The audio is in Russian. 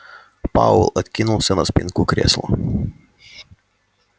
пауэлл откинулся на спинку кресла